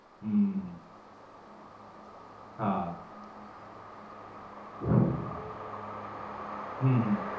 હમ હા. હમ હમ